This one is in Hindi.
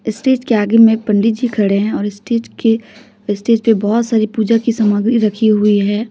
स्टेज के आगे में पंडित जी खड़े हैं और स्टेज के स्टेज पे बहोत सारी पूजा की सामग्री रखी हुई है।